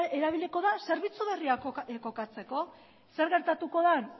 erabiliko da zerbitzu berriak kokatzeko zer gertatuko den